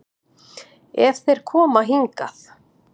Ef þeir koma hingað.